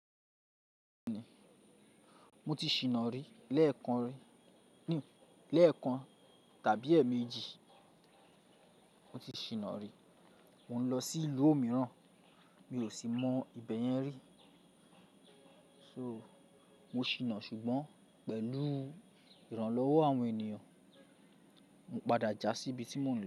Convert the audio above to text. Mo ti ṣìná rí lẹ́ẹ̀kan tàbí èèmejì. Mo ti ṣìná rí. Mò ń lọ sí ìlú o mìíràn mi ò sì mọ ibẹ̀ yẹn rí. So, mo ṣìná ṣùgbọ́n pẹ̀lú ìrànlọ́wọ́ àwọn ènìyàn, mo padà jà sí ibi tí mo ń lọ.